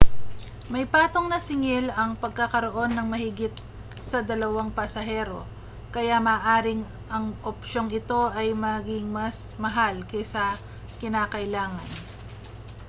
may patong na singil ang pagkakaroon ng mahigit sa 2 pasahero kaya maaaring ang opsyong ito ay maging mas mahal kaysa kinakailangan